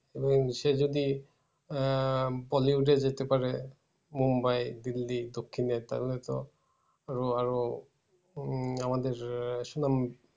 এবং সে যদি আহ bollywood এ যেতে পারে মুম্বাই দিল্লী দক্ষিণে তাহলে তো আরো আরো উম আমাদের সুনাম